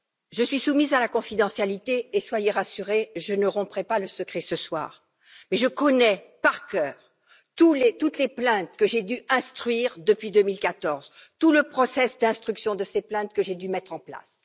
Je suis soumise à la confidentialité et, soyez rassurés, je ne romprai pas le secret ce soir, mais je connais par cœur toutes les plaintes que j'ai dû instruire depuis 2014, tout le processus d'instruction de ces plaintes, que j'ai dû mettre en place.